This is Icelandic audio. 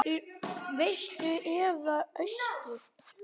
Vestur eða austur?